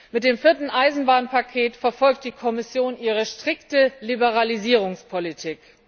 Mit dem vierten Eisenbahnpaket verfolgt die Kommission ihre strikte Liberalisierungspolitik.